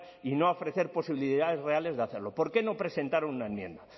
y no a ofrecer posibilidades reales de hacerlo por qué no presentaron una enmienda